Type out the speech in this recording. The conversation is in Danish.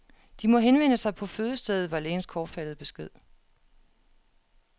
De må henvende sig på fødestedet, var lægens kortfattede besked.